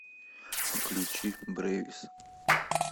включи брэвис